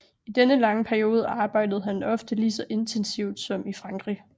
I denne lange periode arbejdede han ofte lige så intensivt som i Frankrig